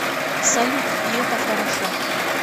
салют и это хорошо